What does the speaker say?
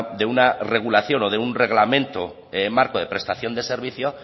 de una regulación o de un reglamento en marco de prestación de servicio